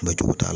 t'a la